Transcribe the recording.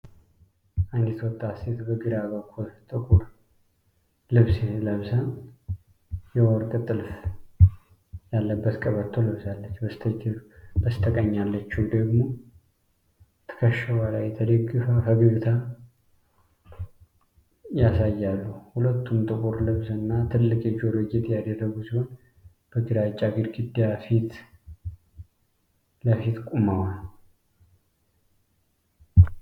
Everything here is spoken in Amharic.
አንዲት ወጣት ሴት በግራ በኩል ጥቁር ልብስ ለብሳ፣ የወርቅ ጥልፍ ያለበት ቀበቶ ለብሳለች፤ በስተቀኝ ያለችው ደግሞ ትከሻዋ ላይ ተደግፋ ፈገግታ ያሳያሉ። ሁለቱም ጥቁር ልብስ እና ትልቅ የጆሮ ጌጥ ያደረጉ ሲሆን፣ በግራጫ ግድግዳ ፊት ቆመዋል።